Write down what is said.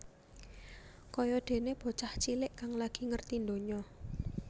Kaya déné bocah cilik kang lagi ngerti ndonya